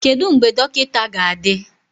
Kedu mgbe dọkịta ga-adị?